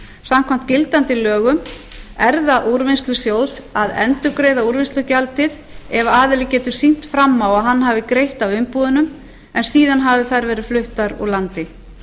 samkvæmt gildandi lögum er það úrvinnslusjóðs að endurgreiða úrvinnslugjaldi ef aðili getur sýnt fram á að hann hafi greitt af umbúðunum en eða hafi þær verið fluttar úr landi